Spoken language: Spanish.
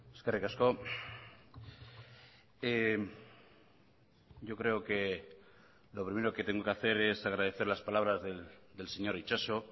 eskerrik asko yo creo que lo primero que tengo que hacer es agradecer las palabras del señor itxaso